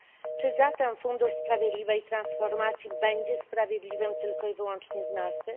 Czy zatem fundusz sprawiedliwej transformacji będzie sprawiedliwy tylko i wyłącznie z nazwy?